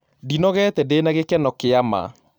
Ndĩnogete ndĩna gĩkeno kĩa ma